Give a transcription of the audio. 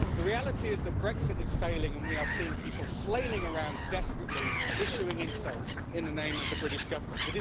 The reality is that Brexit is failing and we are seeing people flailing around desperately, issuing insults in the name of the British Government.